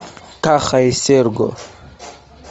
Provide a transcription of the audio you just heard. каха и серго